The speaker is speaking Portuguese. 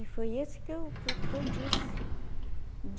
E foi isso que eu que eu que eu disse.